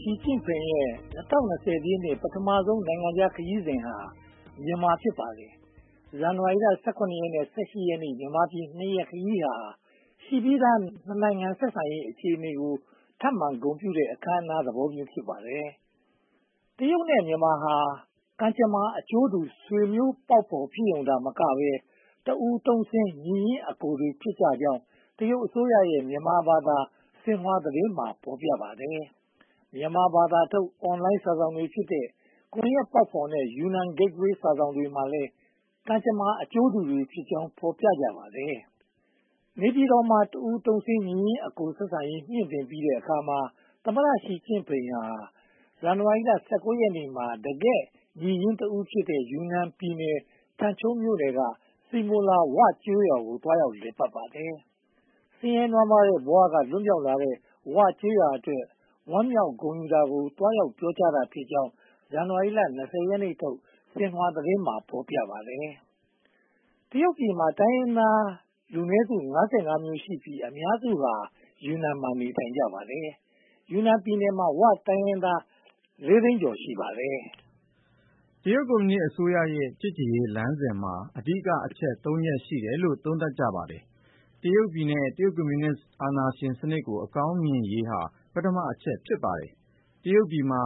ရှီကျင့်ဖိန်ရဲ့ ၂၀၂၀ ပြည့်နှစ် ပထမဦးဆုံး နိုင်ငံခြားခရီးစဉ်ဟာ မြန်မာနိုင်ငံ ဖြစ်ပါတယ်။ ဇန်နဝါရီလ နဲ့ ရက် မြန်မာပြည် ရက် ခရီးစဉ်ဟာ ရှိပြီးသား နှစ်နိုင်ငံ ဆက်ဆံရေးအခြေအနေကို ထပ်မံဂုဏ်ပြုတဲ့ အခမ်းအနားသဘောမျိုး ဖြစ်ပါတယ်။ တရုတ်နဲ့ မြန်မာဟာ ကံကြမ္မာအကျိုးတူ ဆွေးမျိုးပေါက်ဖော် ဖြစ်ရုံသာမကဘဲ၊ တစ်အူထုံ့ဆင်း ညီရင်းအကိုတွေဖြစ်ကြောင်း တရုတ်အစိုးရရဲ့ မြန်မာဘာသာ ဆင်ဟွာသတင်းမှာ ဖော်ပြပါတယ်။ မြန်မာဘာသာထုတ် Online စာစောင်တွေဖြစ်တဲ့ ကွန်ရက်ပေါက်ဖော်နဲ့ Yunnan-Gateway စာစောင်တွေမှာလည်း ကံကြမ္မာအကျိုးတူတွေဖြစ်ကြောင်း ဖော်ပြကြပါတယ်။ နေပြည်တော်မှာ တစ်အူထုံ့ဆင်း ညီရင်းအကိုဆက်ဆံရေး မြှင့်တင်ပြီးတဲ့အခါမှာ သမ္မတရှီကျင့်ဖိန်ဟာ ဇန်နဝါရီလ ရက်နေ့မှာ တကယ့်ညီရင်းတဦးဖြစ်တဲ့ ယူနန်ပြည်နယ်၊ ထန်ချုံးမြို့နယ်က စီမိုလာ ‘ဝ’ ကျေးရွာကို သွားရောက်လည်ပတ်ခဲ့ပါတယ်။ ဆင်းရဲနွမ်းပါးတဲ့ ဘဝက လွတ်မြောက်လာတဲ့ ‘ဝ’ ကျေးရွာအတွက် ဝမ်းမြောက်ဂုဏ်ယူတာကို သွားရောက်ပြောကြားတာဖြစ်ကြောင်း ဇန်နဝါရီလ ရက်နေ့ထုတ် ဆင်ဟွာသတင်းမှာ ဖော်ပြပါတယ်။ တရုတ်ပြည်မှာ တိုင်းရင်းသားလူနည်းစု မျိုးရှိပြီး အများစုဟာ ယူနန်ပြည်နယ်မှာ နေထိုင်ကြပါတယ်။ ယူနန်ပြည်နယ်မှာ ‘ဝ’ တိုင်းရင်းသား သိန်းကျော် ရှိပါတယ်။ တရုတ်ပြည်ကွန်မြူနစ်အစိုးရရဲ့ ချစ်ကြည်ရေးလမ်းစဉ်မှာ အဓိကအချက် ချက် ရှိတယ်လို့ သုံးသပ်ကြပါတယ်။ တရုတ်ပြည်နဲ့ တရုတ်ကွန်မြူနစ်အာဏာရှစ်စနစ်ကို အကောင်းမြင်ရေးဟာ ပထမအချက် ဖြစ်ပါတယ်။ တရုတ်ပြည်မှာ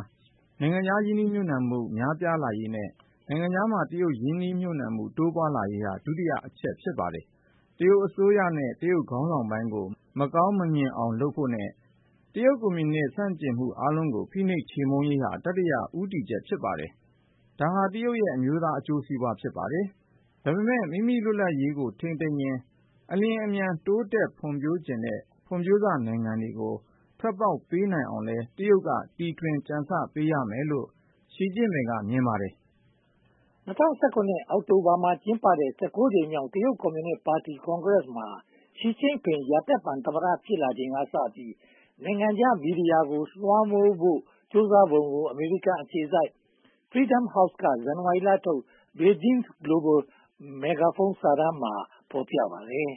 နိုင်ငံခြားရင်းနှီးမြုပ်နံှမှု များပြားလာရေးနဲ့ နိုင်ငံခြားမှာ တရုတ်ရင်းနှီးမှု တိုးပွားလာရေးဟာ ဒုတိယအချက် ဖြစ်ပါတယ်။ တရုတ်အစိုးရနဲ့ တရုတ်ခေါင်းဆောင်ပိုင်းကို မကောင်းမမြင်အောင်လုပ်ဖို့နဲ့ တရုတ်ကွန်မြူနစ် ဆန့်ကျင်မှုအားလုံးကို ဖိနှိပ်ချေမှုန်းရေးဟာ တတိယ ဦးတည်ချက် ဖြစ်ပါတယ်။ ဒါဟာတရုတ်ရဲ့ အမျိုးသားအကျိုးစီးပွား ဖြစ်ပါတယ်။ ဒါပေမဲ့ မိမိလွတ်လပ်ရေးကို ထိန်းသိမ်းရင်း အလျှင်အမြန် တိုးတက်ဖွံ့ဖြိုးချင်တဲ့ ဖွံ့ဖြိုးစနိုင်ငံတွေကို ထွက်ပေါက်ပေးနိုင်အောင်လည်း တရုတ်က တီထွင်ကြံဆပေးရမယ်လို့ ရှီကျင့်ဖိန်က မြင်ပါတယ်။ ၂၀၁၇ အောက်တိုဘာလမှာ ကျင်းပခဲ့တဲ့ ကြိမ်မြောက် တရုတ်ကွန်မြူနစ်ပါတီကွန်ဂရက်မှာ ရှီကျင့်ဖိန် ရာသက်ပန်သမ္မတ ဖြစ်လာချိန်ကစပြီး နိုင်ငံခြားမီဒီယာတွေကို လွှမ်းမိုးဖို့ ကြိုးပမ်းပုံကို အမေရိကန်အခြေစိုက် Freedom House က ဇန်နဝါရီလထုတ် Beijing’s Global Megaphone စာတမ်းမှာ ဖော်ပြထားပါတယ်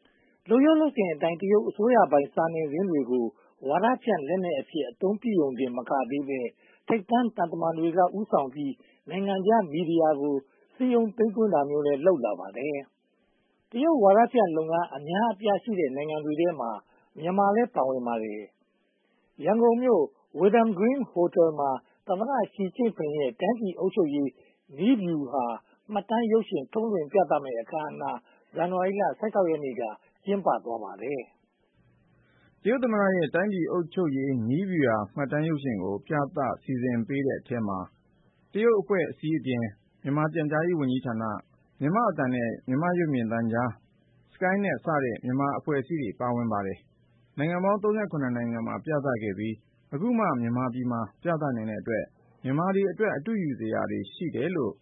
။ လုပ်ရိုးလုပ်စဉ်အတိုင်း တရုတ်အစိုးရပိုင် စာနယ်ဇင်းတွေကို ဝါဒဖြန့်လက်နက်အဖြစ် အသုံးပြုရုံတင်မကသေးဘဲ၊ ထိပ်တန်းသံတမန်တွေက ဦးဆောင်ပြီး နိုင်ငံခြားမီဒီယာကို စည်းရုံးသိမ်းသွင်းတာမျိုးလည်း လုပ်လာပါတယ်။ တရုတ်ဝါဒဖြန့်လုပ်ငန်း အများအပြားရှိတဲ့ နိုင်ငံတွေထဲမှာ မြန်မာလည်းပါဝင်ပါတယ်။ ရန်ကုန်မြို့ Wyndham Green Hotel မှာ တရုတ်သမ္မတရှီကျင့်ဖိန်ရဲ့ တိုင်းပြည်အုပ်ချုပ်ရေး နည်းဗျူဟာမှတ်တမ်းရုပ်ရှင် ထုတ်လွှင့်ပြသမည့်အခမ်းအနား ဇန်နဝါရီလ ရက်နေ့က ကျင်းပသွားပါတယ်။ တရုတ်သမ္မတရဲ့ တိုင်းပြည်အုပ်ချုပ်ရေးနည်းဗျူဟာ မှတ်တမ်းရုပ်ရှင်ကို ပြသဖို့ စီစဉ်ပေးသူတွေထဲမှာ တရုတ်အဖွဲ့အစည်းတွေအပြင် မြန်မာပြန်ကြားရေးဝန်ကြီးဌာန၊ မြန်မာ့အသံနဲ့ ရုပ်မြင်သံကြား၊ SkyNet စတဲ့ မြန်မာအဖွဲ့အစည်းတွေ ပါဝင်ကြပါတယ်။ နိုင်ငံပေါင်း နိုင်ငံမှာ ပြသခဲ့ပြီး အခုမှ မြန်မာပြည်မှာ ပြနိုင်တဲ့အတွက် မြန်မာတွေအတွက် အတုယူစရာတွေ ရှိမယ်လို့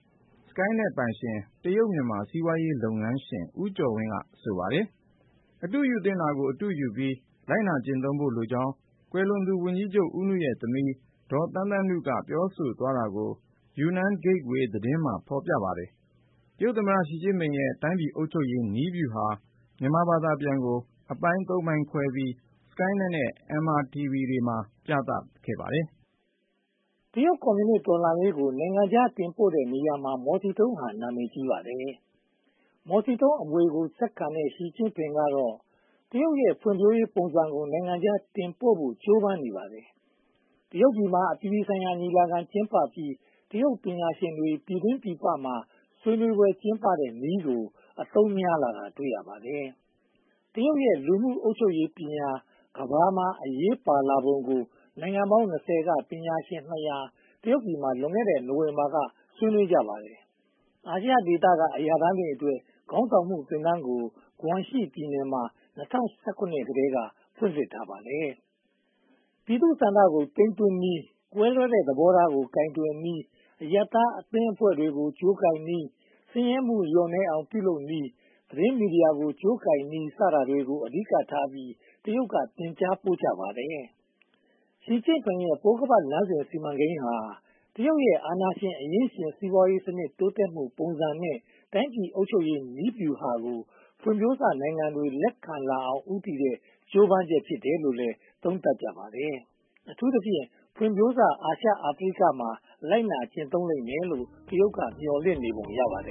SkyNet ပိုင်ရှင် တရုတ်-မြန်မာ စီးပွားရေးလုပ်ငန်းရှင် ဦးကျော်ဝင်းက ဆိုပါတယ်။ အတုယူသင့်တာကို အတုယူပြီး လိုက်နာကျင့်သုံးဖို့လိုကြောင်း ကွယ်လွန်သူဝန်ကြီးချုပ်ဦးနုရဲ့ သမီး ဒေါ်သန်းသန်းနု ပြောဆိုသွားတာကို Yunnan Gateway သတင်းမှာ ဖော်ပြပါတယ်။ တရုတ်သမ္မတရှီကျင့်ဖိန်ရဲ့ တိုင်းပြည်အုပ်ချုပ်ရေးနည်းဗျူဟာ မြန်မာဘာသာပြန်ကို အပိုင်း ပိုင်းခွဲပြီး SkyNet နဲ့ MRTV မှာ ပြသသွားပါတယ်။ တရုတ်ကွန်မြူနစ်တော်လှန်ရေးကို နိုင်ငံခြားတင်ပို့တဲ့နေရာမှာ မော်စီတုန်းက နာမည်ကြီးပါတယ်။ မော်စီတုန်းအမွေကို ဆက်ခံတဲ့ ရှီကျင့်ဖိန်ကတော့ တရုတ်ရဲ့ ဖွံ့ဖြိုးရေးပုံစံကို နိုင်ငံခြားတင်ပို့ဖို့ ကြိုးပမ်းနေပါတယ်။ တရုတ်ပြည်မှာ အပြည်ပြည်ဆိုင်ရာညီလာခံ ကျင်းပပြီး တရုတ်ပညာရှင်တွေ ပြည်တွင်းပြည်ပမှာ ဆွေးနွေးကျင်းပတဲ့နည်းကို အသုံးများလာတာ တွေ့ရပါတယ်။ တရုတ်ရဲ့ လူမှုအုပ်ချုပ်ရေးပညာ ကမ္ဘာမှာ အရေးပါလာပုံကို နိုင်ငံပေါင်း က ပညာရှင် တရုတ်ပြည်မှာ လွန်ခဲ့တဲ့ နိုဝင်ဘာလမှာ ဆွေးနွေးကြပါတယ်။ အာဆီယံဒေသက အရာထမ်းတွေအတွက် ခေါင်းဆောင်မှုသင်တန်းကို ဂွမ်ရှီပြည်နယ်မှာ ၂၀၁၇ ခုနှစ်ကတည်းက ဖွင့်လှစ်ထားပါတယ်။ ပြည်သူ့ဆန္ဒကို သိမ်းသွင်းနည်း၊ ကွဲလွဲတဲ့သဘောထားကို ကိုင်တွယ်နည်း၊ အရပ်သားအသင်းအဖွဲ့တွေကို ကြိုးကိုင်နည်း၊ ဆင်းရဲမှုလျော့နည်းအောင် ပြုလုပ်နည်း၊ သတင်းမီဒီယာကို ကြိုးကိုင်နည်း စတာတွေကို အဓိကထားပြီး တရုတ်က သင်ကြားပို့ချပါတယ်။ ရှီကျင့်ဖိန်ရဲ့ ပိုးခါးပတ်လမ်းသစ် စီမံကိန်းဟာ တရုတ်ရဲ့ အာဏာရှင် အရင်းရှင်စီးပွားရေးစနစ် တိုးတက်မှုပုံစံနဲ့ တိုင်းပြည်အုပ်ချုပ်ရေးနည်းဗျူဟာကို ဖွံ့ဖြိုးစနိုင်ငံတွေ လက်ခံလာအောင် ဦးတည်တဲ့ ကြိုးပမ်းချက်ဖြစ်တယ်လို့လည်း သုံးသပ်ကြပါတယ်။ အထူးသဖြင့် ဖွံ့ဖြိုးစ အာရှ-အာဖရိကမှာ လိုက်နာကျင့်သုံးလိမ့်မယ်လို့ တရုတ်က မျှော်လင့်နေပုံ ရပါတယ်